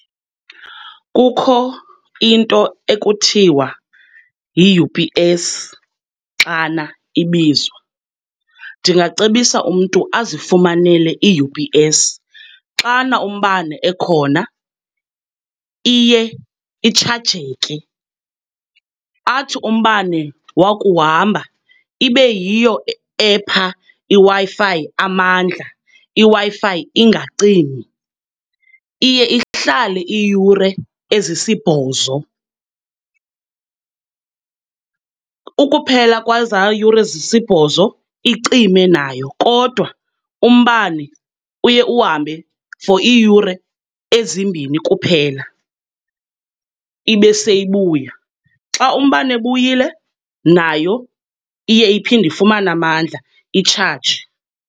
Kukho into ekuthiwa yi-U_P_S xana ibizwa. Ndingacebisa umntu azifunamele i-U_P_S. Xana umbane ekhona iye itshajeke, athi umbane wakuhamba ibe yiyo epha iWi-Fi amandla, iWi-Fi ingacimi. Iye ihlale iiyure ezisibhozo, ukuphela kwezaa yure zisibhozo icime nayo. Kodwa umbane uye uhambe for iiyure ezimbini kuphela ibe seyibuya., xa umbane ebuyile nayo iye iphinde ifumane amandla, itshaje.